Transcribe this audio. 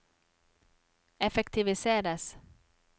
effektiviseres